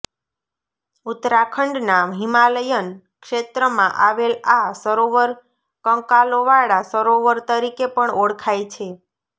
ઉત્તરાખંડના હિમાલયન ક્ષેત્રમાં આવેલ આ સરોવર કંકાલોવાળા સરોવર તરીકે પણ ઓળખાય છે